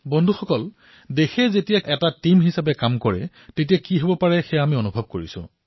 বন্ধুসকল দেশবাসীয়ে যেতিয়া দলৱদ্ধভাৱে কাম কৰে তেতিয়া কি হয় সেয়া আমি অনুভৱ কৰো